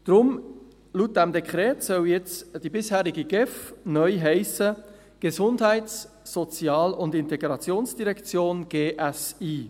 Laut diesem Dekret soll jetzt die bisherige GEF neu folgendermassen heissen: «Gesundheits-, Sozial- und Integrationsdirektion (GSI)».